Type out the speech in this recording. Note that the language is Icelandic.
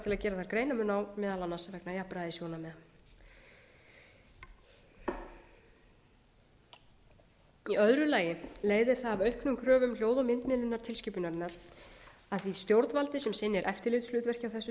gera þar greinarmun á meðal annars vegna jafnræðissjónarmiða í öðru lagi leiðir það af auknum kröfum hljóð og myndmiðlunartilskipunarinnar að því stjórnvaldi sem sinnir eftirlitshlutverki á þessu sviði